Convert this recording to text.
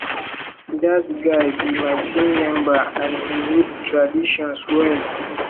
dat guy be my team member and he no the traditions well